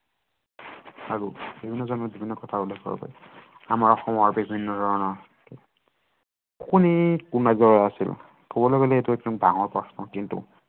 আৰু বিভিন্ন জনৰ বিভিন্ন কথা উল্লেখ কৰিব পাৰি। আমাৰ অসমৰ বিভিন্ন ধৰণৰ কবলৈ গলে এইটো ডাঙৰ প্ৰশ্ন কিন্তু